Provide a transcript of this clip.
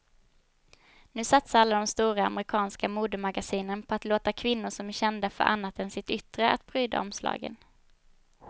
Nu satsar alla de stora amerikanska modemagasinen på att låta kvinnor som är kända för annat än sitt yttre att pryda omslagen.